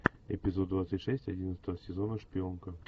эпизод двадцать шесть одиннадцатого сезона шпионка